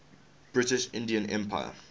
british indian empire